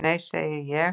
"""Nei, segi ég."""